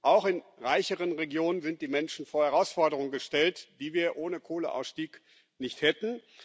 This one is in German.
Auch in reicheren Regionen sind die Menschen vor Herausforderungen gestellt, die wir ohne Kohleausstieg nicht hätten.